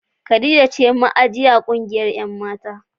Khadijah ce ma'aji a kungiyar 'yan' mata.